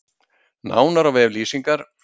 Nánar á vef Lýsingar